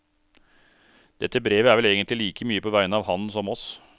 Dette brevet er vel egentlig like mye på vegne av han som oss.